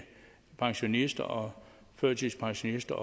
pensionister og førtidspensionister